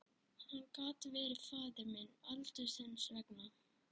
Hann gat verið faðir minn aldursins vegna.